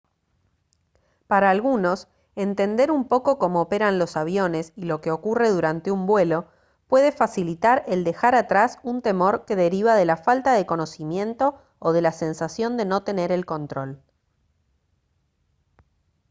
para algunos entender un poco cómo operan los aviones y lo que ocurre durante un vuelo puede facilitar el dejar atrás un temor que deriva de la falta de conocimiento o de la sensación de no tener el control